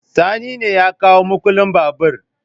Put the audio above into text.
Sani ne ya kawo mukullin babur